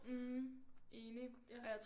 Mh enig